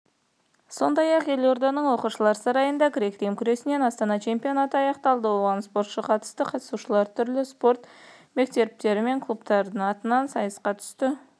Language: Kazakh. сондай-ақ елорданың оқушылар сарайында грек-рим күресінен астана чемпионаты аяқталды оған спортшы қатысты қатысушылар түрлі спорт мектептері мен клубтардың атынан сайысқа түсті